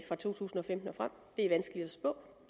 fra to tusind og femten og frem det er vanskeligt at spå